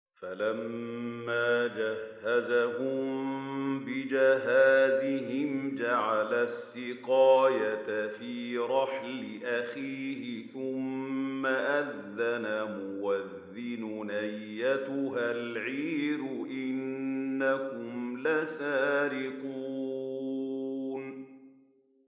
فَلَمَّا جَهَّزَهُم بِجَهَازِهِمْ جَعَلَ السِّقَايَةَ فِي رَحْلِ أَخِيهِ ثُمَّ أَذَّنَ مُؤَذِّنٌ أَيَّتُهَا الْعِيرُ إِنَّكُمْ لَسَارِقُونَ